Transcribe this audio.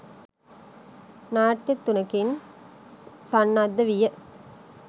නාට්‍ය තුනකින් සන්නද්ධ විය